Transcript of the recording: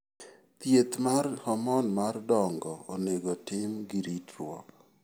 Thieth mar hormone mar dongo onego otim gi ritruok.